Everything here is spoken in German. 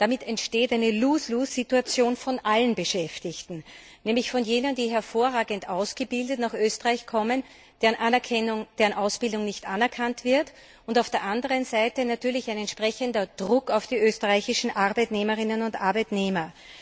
Damit entsteht eine Lose lose Situation von allen Beschäftigten, nämlich von jenen, die hervorragend ausgebildet nach Österreich kommen, deren Ausbildung nicht anerkannt wird, und auf der anderen Seite natürlich ein entsprechender Druck auf die österreichischen Arbeitnehmerinnen und Arbeitnehmer.